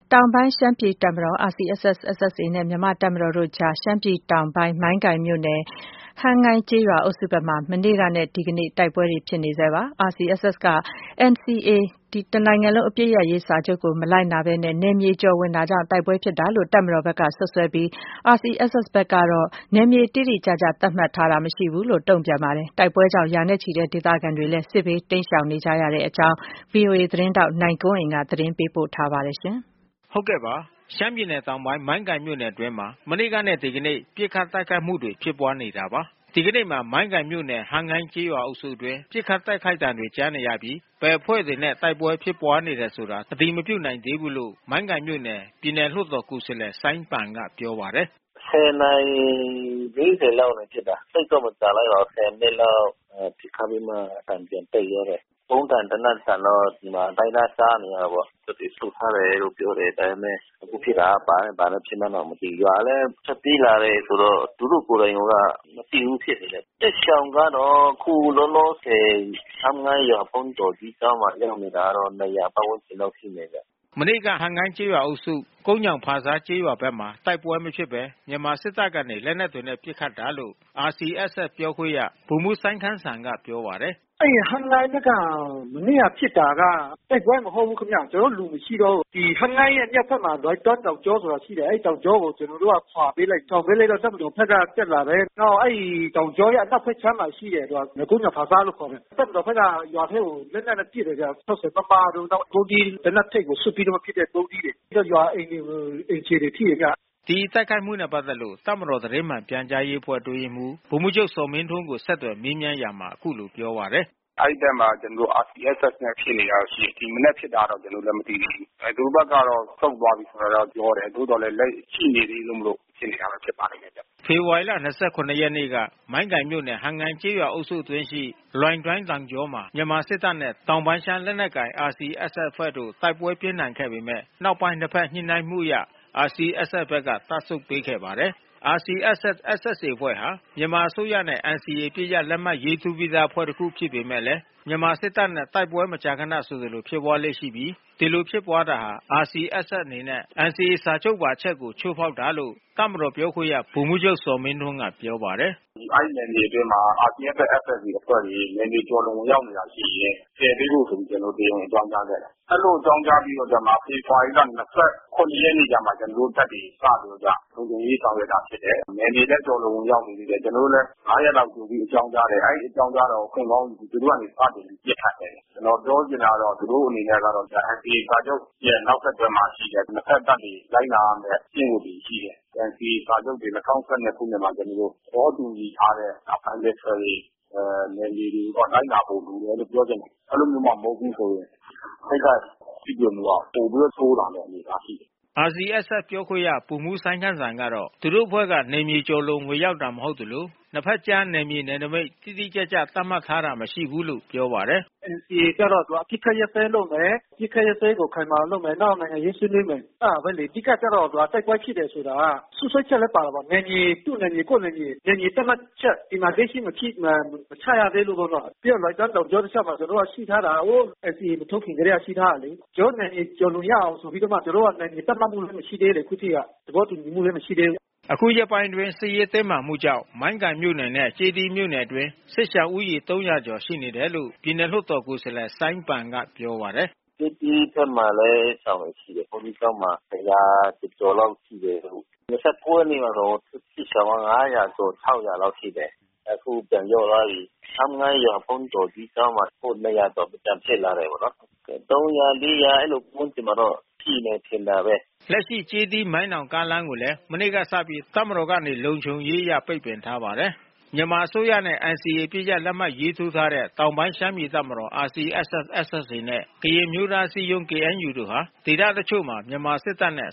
တောင်ပိုင်းရှမ်းပြည်တပ်မတော် RCSS/SSA နဲ့ မြန်မာ့တပ်မတော်တို့ကြား ရှမ်းပြည်တောင်ပိုင်း၊ မိုင်း ကိုင်မြို့နယ်၊ ဟမ်းငိုင်းကျေးရွာအုပ်စုဘက်မှာ မနေ့ကနဲ့ ဒီနေ့ တိုက်ပွဲဖြစ်နေဆဲပါပဲ။ RCSS က NCA စာချုပ်ကို မလိုက်နာဘဲ နယ်မြေကျော်ဝင် တာကြောင့် တိုက်ပွဲဖြစ်တာလို့ တပ်မတော်ဘက်က စွပ်စွဲပြီး RCSS ဘက်ကတော့ နယ်မြေ တိတိကျကျ သတ်မှတ်ထားတာမရှိဘူးလို့ တုံ့ပြန်ပါတယ်။ တိုက်ပွဲကြောင့် ရာနဲ့ချီတဲ့ဒေသခံတွေ စစ်ဘေး တိမ်းရှောင်နေကြရပါတယ်။ ဒီအကြောင်း ဗွီအိုအေ သတင်းထောက် နိုင်ကွန်းအိမ်က သတင်းပေးပို့ထားပါတယ်။ ရှမ်းပြည်နယ်တောင်ပိုင်း မိုင်းကိုင်မြို့နယ်အတွင်းမှာ မနေ့ကနဲ့ဒီကနေ့ ပစ်ခတ်တိုက်ခိုက်မှုတွေဖြစ်ပွါးနေတာပါ။ ဒီကနေ့မှာမိုင်းကိုင်မြို့နယ် ဟမ်းငိုင်းကျေးရွာ အုပ်စုအတွင်း ပစ်ခတ်တိုက်ခိုက်သံတွေ ကြားနေရပြီး ဘယ်အဖွဲ့တွေ နဲ့ တိုက်ပွဲဖြစ်ပွါးတယ်ဆိုတာ အတည်မပြုနိုင်သေးဘူးလို့မိုင်းကိုင်မြို့နယ် ပြည်နယ်လွှတ်တော် ကိုယ်စားလှယ် စိုင်းပန် ကပြောပါတယ်။ “၁၀ နာရီ ၄၀ လောက်ကဖြစ်တာ။ သိပ်တော့မကြာလိုက်ပါဘူး။ ၁၀ မိနစ်လောက်ပစ်ခတ်ပြီးမှ အသံပြန်တိတ်သွားတယ်။ ဗုံးသံ သေနတ်သံတော့ ဒီမှာအတိုင်းသားကြားနေရတယ်ပေါ့။ တပ်တွေဆုတ်ထားတယ်လို့ပြောတယ် ဒါပေမဲ့ အခုဖြစ်တာက ဘာနဲ့ ဘာနဲ့ဖြစ်မှန်းတောင်မသိဘူး။” မနေ့က ဟမ်းငိုင်းကျေးရွာ အုပ်စု ကုန်းညောင် ဖာဆားကျေးရွာ ဘက်မှာ တိုက်ပွဲမဖြစ်ဘဲ မြန်မာစစ်တပ်ကနေ လက်နက်တွေနဲ့ ပစ်ခတ်တာလို့ RCS Sပြောခွင့်ရ ဗိုလ်မှူးစိုင်းခမ်းစံ ကပြောပါတယ်။ “ဟမ်းငိုင်းဘက်က မနေ့ကဖြစ်တာက တိုက်ပွဲမဟုတ်ဘူးခင်ဗျ။ ကျနော်တို့လူမရှိတော့ဘူး။ ဟမ်းငိုင်းရဲ့ မြောက်ဘက်မှာ လွိုင်တွမ်းတောင်ကြော ဆိုတာရှိတယ်။ အဲဒီတောင်ကြောကို ကျနော်တို့ကခွါပေးလိုက်တယ်။ ခွါပေးလိုက်တော့ တပ်မ တော်ဘက်ကတက်လာတယ်။ နောက် အဲဒီတောင်ကြောရဲ့ အနောက်ဘက်ခြမ်းမှာ ရှိတဲ့ရွာ ကုန်းညောင်ဖာဆားလို့ခေါ်တယ်။ တပ်မတော်ဘက်က ရွာထဲကို လက်နက်နဲ့ပစ်တယ်ဗျာ။ ဒီတိုက်ခိုက်မှုနဲ့ ပတ်သက်လို့ တပ်မတော်သတင်းမှန် ပြန်ကြားရေ းအဖွဲ့ အတွင်းရေးမှူး ဗိုလ်မှူးချုပ်ဇော်မင်းထွန်းကို ဆက်သွယ်မေးမြန်းရာမှာ အခုလိုပြောပါတယ်။ “အဲဒီဘက်မှာ ကျနော်တို့ RCSSနဲ့ဖြစ်နေတာ ရှိတယ်။ ဒီမနက်ဖြစ်တာတော့ ကျနော်တို့လည်းမသိသေး ဘူး။ သူတို့ဘက် ကတော့ ဆုတ်သွားပြီးဆိုတာတော့ပြောတယ်။ သို့သော်လည်း လက်ရှိရှိနေသေးမို့လို့ ဖြစ်နေတာ ဖြစ်ပါလိမ့်မယ်။” ဖေ ဖေါ်ဝါရီလ ၂၇ ရက် နေ့က မိုင်းကိုင်မြို့နယ် ဟမ်းငိုင်းကျေးရွာ အုပ်စုအတွင်း ရှိ လွိုင်တွမ်း တောင်ေ ကြာမှာ မြန်မာစစ်တပ်နဲ့ တောင်ပိုင်းရှမ်းလက်နက်ကိုင် RCSS အဖွဲ့တို့ တိုက်ပွဲပြင်းထန် ခဲ့ပေမယ့် နောက်ပိုင်း ၂ ဘက် ညှိနှိုင်းမှု အရ RCSS ဘက်က တပ်ပြန်ဆုတ်ပေး ခဲ့ပါတယ်။ RCSS/SSA အဖွဲ့ဟာ မြန်မာအစိုးရနဲ့ NCA အပစ်ရပ် လက်မှတ်ရေးထိုးပြီးသားအဖွဲ့ တ ခုဖြစ်ပေမဲ့လည်း မြန်မာစစ်တပ်နဲ့ တိုက်ပွဲမကြာခန ဆိုသလိုဖြစ်ပွါးလေ့ရှိပြီး ဒီလို ဖြစ်ပွါးတာဟာ RCSS အနေနဲ့ NCA စာချုပ်ပါ အချက်ကို ချိုးဖေါက်တာလို့ တပ်မတော်ပြောခွင့်ရ ဗိုလ်မှူး ချုပ်ဇော်မင်းထွန်းကပြောပါတယ်။ “အဲဒီနယ်မြေအတွင်းမှာ RCSS/SSA အဖွဲ့တွေ နယ်မြေကျော်လွန်ဝင်ရောက်နေတာရှိရင် ဖယ်ပေးဖို့ ဆိုပြီး ကျနော်တို့ တရားဝင်အကြောင်းကြား ခဲ့တာ။ အဲဒီလို အကြောင်းကြားပြီးတော့ကျမှ ဖေဖေါ်ဝါရီလ ၂၇ ရက်နေ့ ကျမှ ကျနော်တို့ တပ်တွေ စပြီးတော့မှ လုံခြုံရေးဆောင်ရွက်တာဖြစ်တယ်။ နယ်မြေလည်း ကျော်လွန် ဝင်ရောက်နေ သေးတယ်။ ကျနော်တို့ လည်း ၅ ရက်လောက် ကြိုတင်အကြောင်းကြားတယ်။ အဲဒီအကြောင်းကြားတာကို အခွင့်ကောင်း ယူပြီး သူတို့ကနေ စတင် ပစ်ခတ်တယ်။ ကျနော်ပြောချင်တာ ကတော့ သူတို့အနေကတော့ NCA စာချုပ်ရဲ့နောက်ဆက်တွဲ မှာရှိတဲ့ နှစ်ဘက်တပ် တွေ လိုက်နာရမဲ့ ကျင့်ဝတ်တွေရှိတယ်။ NCA စာချုပ်တွေ ၂၀၁၂ ခုနှစ်မှာ ကျနော်တို့ သဘောတူညီထားတဲ့ bilateral တွေ နယ်မြေတွေ လိုက်နာဖို့လိုတယ်လို့ ပြောချင်တယ်။” RCSS ပြောခွင့်ရ ဗိုလ်မှူးစိုင်းခမ်းစံ ကတော့ သူတို့အဖွဲ့က နယ်မြေကျော်လွန် ဝင်ရောက်တာ မဟုတ်သလို ၂ ဘက် ကြား နယ်မြေနယ်နမိတ် တိတိကျကျ သတ်မှတ်တာ မရှိဘူးလို့ ပြောပါတယ်။ “NCA ကျတော့ သူက အပစ်ခတ်ရပ်စဲရေးလုပ်မယ်။ အပစ်ခတ်ရပ်စဲရေး ခိုင်မာအောင်လုပ်မယ်။ နောက် နိုင်ငံရေးဆွေးနွေး မယ်။ အဲတာပဲလေ။ အဓိက ကျတော့ တိုက်ပွဲဖြစ်တယ် ဆိုတာက စွပ်စွဲချက်လည်း ပါတာပေါ့။ နယ်မြေ သူ့နယ်မြေ ကိုယ့် နယ်မြေ နယ်မြေသတ်မှတ်ချက် စီမံကိန်း ရှိမရှိ မချရသေးလို့ပေါ့နော။ ပြီးတော့ လွိုင်တွမ်းေ တာင်ကြော တလျှောက်မှာ ကျနော်တို့ရှိထားတာက ဟိုး NCA မထိုးခင် ကတည်းက ကျနော်တို့ရှိထား တာလေ။ ကျနော်တို့နယ်မြေကျော် လွန်ရအောင် သူတို့က နယ်မြေ သတ်မှတ်မှုက မရှိသေး ခုထိက။ သဘောတူညီမှုက မရှိသေးဘူး။” ခုရက်ပိုင်းအတွင်း စစ်ရေး တင်းမာမှုကြောင့် မိုင်းကိုင်မြို့နယ်နဲ့ ကျေးသီးမြို့နယ် အတွင်း စစ်ရှောင်ဦးရေ ၃၀၀ ကျော် ရှိနေတယ်လို့ ပြည်နယ်လွှတ်တော် ကိုယ်စားလှယ် စိုင်းပန်ကပြောပါတယ်။ “ကျေးသီးဘက်မှာလည်း စစ်ရှောင်တွေ ရှိတယ်။ ဘုန်းကြီးကျောင်းမှာ။ ၁၀၀ ကျော်ကျော်လောက်ရှိတယ်။ ၂၉ ရက် မှာတော့ စစ်ရှောင် ၅၀၀ ကျော် ၆၀၀ လောက် ရှိတယ်။ အခုပြန်လျော့သွားပြီး။ ဟမ်းငိုင်းရွာ ဘုန်းကြီးကျောင်းမှာ အခု ၂၀၀ ကျော် ပြန်ဖြစ် လာတယ်ပေါ့နော်။ ၃၀၀၊ ၄၀၀ အဲဒီဝန်းကျင်တော့ ရှိမယ်ထင်တာပဲ။” လက်ရှိကျေးသီး- မိုင်းနောင် ကားလမ်းကိုလည်း မနေ့ကစပြီး တပ်မတော်ကနေ လုံခြုံရေးအရ ပိတ်ပင်ထားပါတယ်။ မြန်မာအစိုးရနဲ့ NCA အပစ်ရပ်လက်မှတ်ရေးထိုးထားတဲ့ တောင်ပိုင်းရှမ်းပြည်တပ်မတော် RCSS/SSA နဲ့ ကရင်အမျိုးသား အစည်းအရုံး KNU တို့ ဟာဒေသတချို့မှာ မြန်မာစစ်တပ်နဲ့